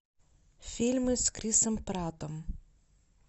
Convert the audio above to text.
фильмы с крисом праттом